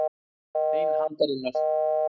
Bein handarinnar.